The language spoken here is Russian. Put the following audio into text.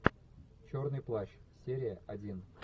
черный плащ серия один